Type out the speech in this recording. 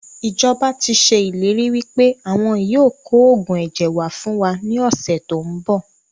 Ìjọba tíì ṣe ìlérí wípé àwọn yìí ó kò oògùn ẹ̀jẹ̀ wá fún wa ní ọ̀sẹ̀ tòun bọ̀